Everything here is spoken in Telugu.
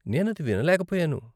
నేను అది వినలేకపోయాను.